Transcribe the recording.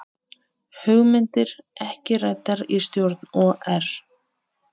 Hugmyndir ekki ræddar í stjórn OR